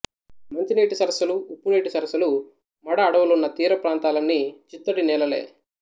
మంచి నీటి సరస్సులు ఉప్పునీటి సరస్సులు మడ అడవులున్న తీర ప్రాంతాలన్నీ చిత్తడి నేలలే